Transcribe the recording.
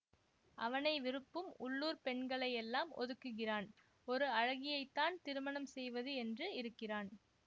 அவனை விருப்பும் உள்ளூர் பெண்களை எல்லாம் ஒதுக்குகிறான் ஒரு அழகியைத்தான் திருமணம் செய்வது என்று இருக்கிறான்